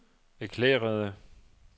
erklærede